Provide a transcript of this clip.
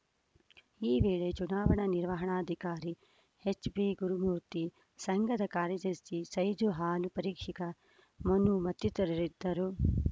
ಈ ವೇಳೆ ಚುನಾವಣಾ ನಿರ್ವಣಾಧಿಕಾರಿ ಎಚ್‌ಬಿಗುರುಮೂರ್ತಿ ಸಂಘದ ಕಾರ್ಯದರ್ಶಿ ಸೈಜು ಹಾಲು ಪರೀಕ್ಷಕ ಮನು ಮತ್ತಿತರರಿದ್ದರು